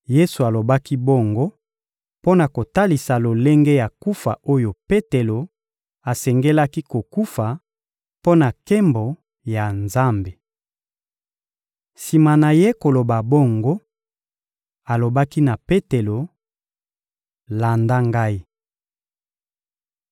Yesu alobaki bongo mpo na kotalisa lolenge ya kufa oyo Petelo asengelaki kokufa mpo na nkembo ya Nzambe. Sima na Ye koloba bongo, alobaki na Petelo: — Landa Ngai!